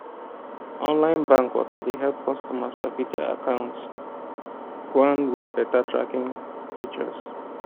online bank waka dey help customers sabi their account gwan with beta tracking features